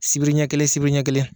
Sibiri ɲɛ kelen sibiri ɲɛ kelen